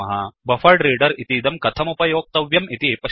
buffered reader इदं कथमुपयोक्तव्यम् इति पश्यामः